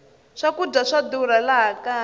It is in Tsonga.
swakudya swa durha laha kaya